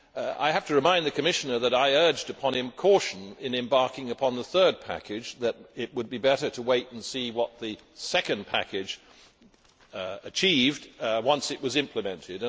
I have to remind the Commissioner that I urged upon him caution in embarking upon the third package that it would be better to wait and see what the second package achieved once it was implemented.